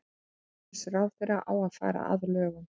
Umhverfisráðherra á að fara að lögum